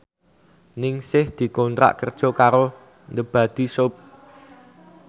Ningsih dikontrak kerja karo The Body Shop